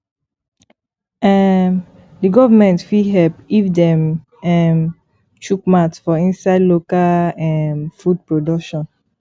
um di government fit help if dem um chook mouth for inside local um food production